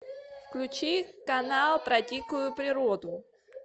включи канал про дикую природу